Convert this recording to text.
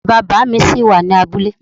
Bàbá bàámi ṣí wà ní abúlé.